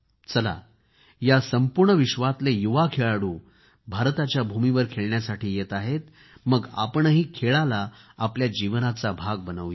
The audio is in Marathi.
चला हे संपूर्ण जग भारताच्या भूमीवर खेळण्यासाठी येत आहेत मग आपणही खेळाला आपल्या जीवनाचा भाग बनवू या